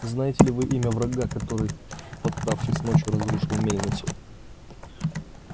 знаете ли вы имя врага который подкравшись ночью разрушил мельницу